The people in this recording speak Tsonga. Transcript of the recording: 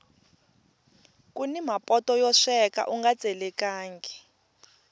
kuni mapoto yo sweka unga tselekangi